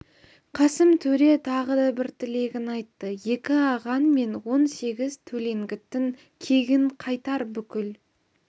қасым төре тағы да бір тілегін айтты екі ағаң мен он сегіз төлеңгіттің кегін қайтар бүкіл